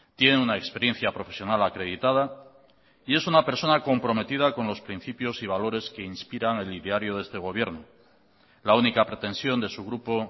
tiene una experiencia profesional acreditada y es una persona comprometida con los principios y valores que inspiran el ideario de este gobierno la única pretensión de su grupo